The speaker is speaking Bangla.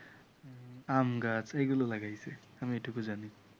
আমগাছ এইগুলো লাগাইছে আমি এইটুকু জানি